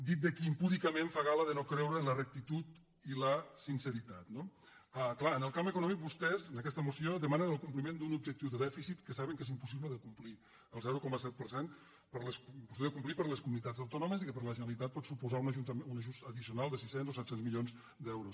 dit de qui impúdicament fa gala de no creure en la rectitud i la sinceritat no clar en el camp econòmic vostès en aquesta moció demanen el compliment d’un objectiu de dèficit que saben que és impossible de complir el zero coma set per cent impossible de complir per les comunitats autònomes i que per a la generalitat pot suposar un ajust addicio·nal de sis cents o set cents milions d’euros